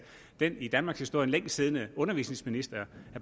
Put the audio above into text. den i danmarkshistorien længst siddende undervisningsminister